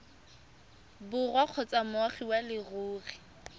borwa kgotsa moagi wa leruri